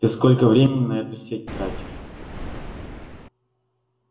ты сколько времени на эту сеть тратишь